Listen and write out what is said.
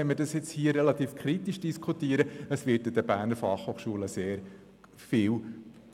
Wenn wir diese Frage hier kritisch diskutieren, dürfen wir jedoch nicht vergessen, dass an der BFH viel